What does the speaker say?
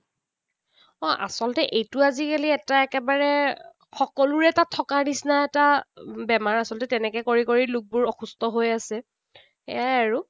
অ, আচলতে এইটো আজিকালি এটা একেবাৰে সকলোৰে তাত থকাৰ নিচিনা এটা বেমাৰ আচলতে। তেনেকৈ কৰি কৰি লোকবোৰ অসুস্থ হৈ আছে। সেয়াই আৰু।